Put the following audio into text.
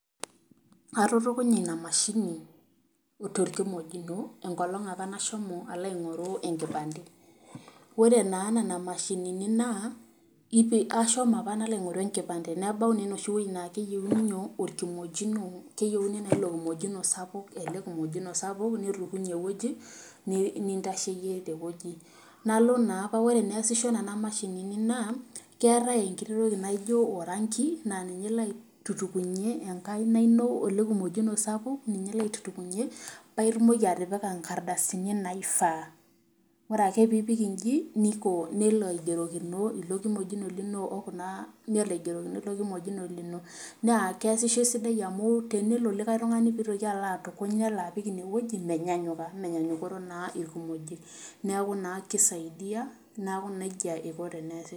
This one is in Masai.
Atutukunya ina mashini torkimojino enkolong apa nashomo alo aingoru enkipante, ore naa nena mashinini naa, ipi.. ashomo apa nalo aingoru enkipante. nebau naa enoshi wueji keyeiuni nyoo, orkimojino keyieuni naa orkimojino sapuk ele kimojino sapuk nitukuny ewueji, nintasheyie tewueji. nalo naa ore eneasisho nena mashinini naa keetae enkiti toki ewuei naijo orangi naa ninye ilo atutukunyie enkaina ino ele kimojino sapuk, ninye ilo aitutukunyie paa itumoki atipika nkardasini naifaa, ore ake piipik inji niko, nelo aigerokino ilo kimojino lino o kunaa, nelo aigerokino ilo kimojino lino naa keesisho esidai amuu ore pee itoki likae tungani pee itoki alo apik inewueji neeku naa menyanyuka amu menyanyukoro naa ilkimojik, neeku naa kisaidia, neeku nejia eiko teneesisho.